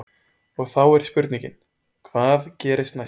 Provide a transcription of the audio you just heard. Og þá er spurningin, hvað gerist næst?